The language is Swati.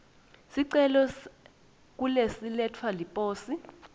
sicelo sekuletselwa liposi